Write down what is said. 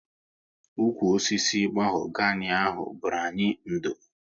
Ụkwụ osisi mahogani ahụ bụru anyị ndo